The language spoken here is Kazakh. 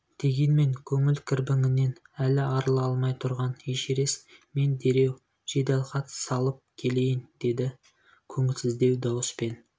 дегенмен көңіл кірбіңінен әлі арыла алмай тұрған эшерест мен дереу жеделхат салып келейін деді көңілсіздеу дауыспен